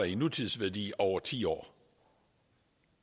i nutidsværdi over ti år